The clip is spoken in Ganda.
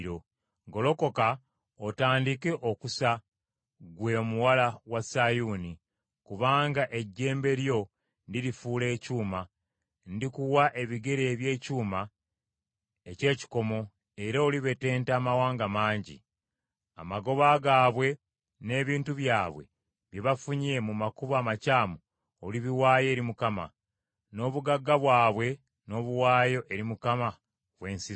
“Golokoka otandike okusa ggwe Omuwala wa Sayuuni, kubanga ejjembe lyo ndirifuula ekyuma; ndikuwa ebigere eby’ekyuma eky’ekikomo era olibetenta amawanga mangi.” Amagoba gaabwe n’ebintu byabwe bye bafunye mu makubo amakyamu olibiwaayo eri Mukama , n’obugagga bwabwe n’obuwaayo eri Mukama w’ensi zonna.